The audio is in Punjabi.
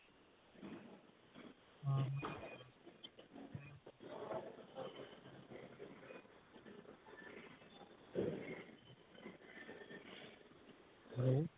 hello